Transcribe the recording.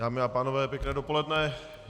Dámy a pánové, pěkné dopoledne.